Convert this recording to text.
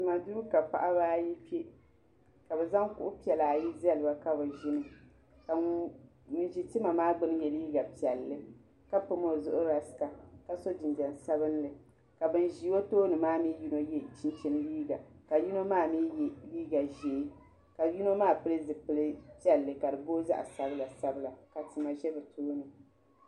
Tima duu ka paɣiba ayi kpe ka bɛ zaŋ kuɣu piɛla ayi zali ba ka bɛ ʒini ka ŋun ʒi tima maa gbuni ye liiga piɛlli ka pam o zuɣu rasita ka so jinjam sabinli ka ban ʒi o tooni maa ni yino ye chinchini liiga ka yino maa mi ye liiga ʒee ka yino maa pili zipili piɛlli ka di booi zaɣ'sabila sabila ka tima za bɛ tooni.